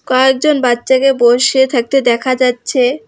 কয়েকজন বাচ্চাকে বসে থাকতে দেখা যাচ্ছে।